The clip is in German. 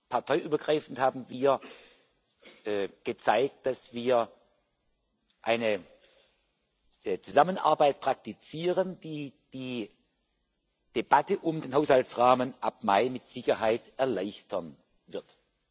Parteiübergreifend haben wir gezeigt, dass wir eine Zusammenarbeit praktizieren, die die Debatte über den Haushaltsrahmen ab Mai mit Sicherheit erleichtern wird.